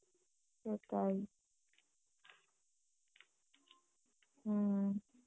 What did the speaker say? সেটাই হম